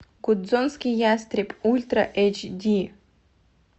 гудзонский ястреб ультра эйч ди